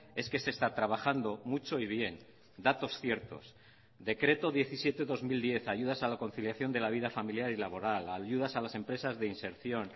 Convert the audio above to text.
es que se está trabajando mucho y bien datos ciertos decreto diecisiete barra dos mil diez ayudas a la conciliación de la vida familiar y laboral ayudas a las empresas de inserción